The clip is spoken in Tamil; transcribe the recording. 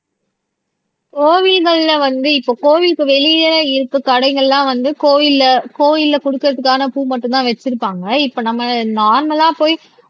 கோவில்கள்ல வந்து இப்ப கோவிலுக்கு வெளியே இருக்க கடைகள்லாம் வந்து கோயில்ல கோயில்ல குடுக்கறதுக்கான பூ மட்டும்தான் வச்சிருப்பாங்க இப்ப நம்ம நார்மலா போயி